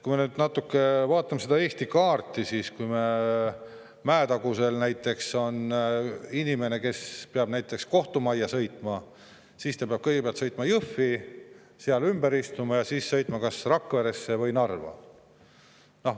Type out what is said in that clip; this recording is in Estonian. Kui me nüüd natuke vaatame Eesti kaarti, siis kui näiteks Mäetagusel on inimene, kes peab kohtumajja sõitma, siis ta peab kõigepealt sõitma Jõhvi, seal ümber istuma ja siis sõitma kas Rakveresse või Narva.